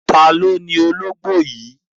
Taàní ó ní músù yìí?